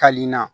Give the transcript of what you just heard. Ka nin na